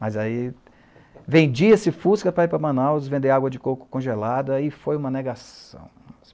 Mas aí vendia-se Fusca para ir para Manaus vender água de coco congelada e foi uma negação.